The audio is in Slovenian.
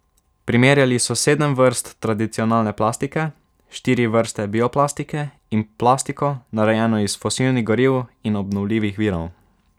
Primerjali so sedem vrst tradicionalne plastike, štiri vrste bioplastike in plastiko, narejeno iz fosilnih goriv in obnovljivih virov.